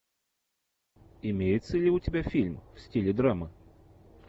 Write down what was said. имеется ли у тебя фильм в стиле драма